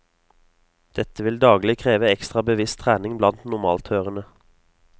Dette vil daglig kreve ekstra bevisst trening blant normalthørende.